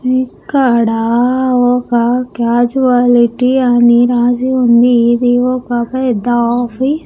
ఇక్కడ ఒక క్యాజువాలిటీ అని రాసి ఉంది ఇది ఒక పెద్ద ఆఫీ--